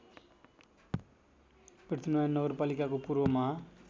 पृथ्वीनारायण नगरपालिकाको पूर्वमा